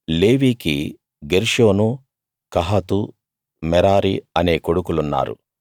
లేవీకి Gershon Kohath Merari అనే కొడుకులున్నారు